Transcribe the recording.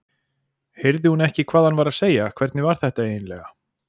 Heyrði hún ekki hvað hann var að segja, hvernig var þetta eiginlega?